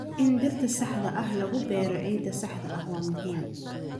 In dhirta saxda ah lagu beero ciidda saxda ah waa muhiim.